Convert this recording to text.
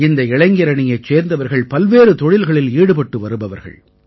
இந்த இளைஞரணியைச் சேர்ந்தவர்கள் பல்வேறு தொழில்களில் ஈடுபட்டு வருபவர்கள்